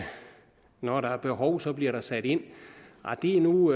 når der er behov så bliver der sat ind nej det er nu